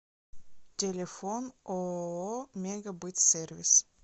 телефон ооо мегабытсервис